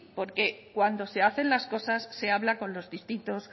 porque cuando se hacen las cosas se habla con los distintos